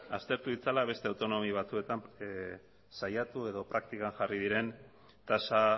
aztertu ditzala beste autonomia batzuetan saiatu edo praktikan jarri diren tasa